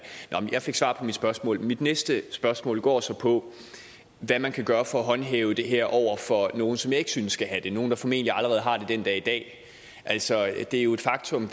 nå men jeg fik svar på mit spørgsmål mit næste spørgsmål går så på hvad man kan gøre for at håndhæve det her over for nogle som jeg ikke synes skal have det nogle der formentlig allerede har det den dag i dag altså det er jo et faktum at